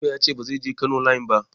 Direban ya ce ba zai je Kano line ba.